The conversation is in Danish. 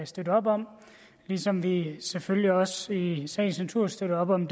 støtte op om ligesom vi selvfølgelig også i sagens natur støtter op om